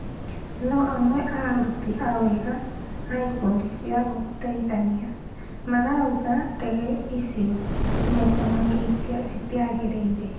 No amwe a aruti a wĩra a ikundi cia gũteithania marauga ndege icio maita maingĩ citiagĩrĩire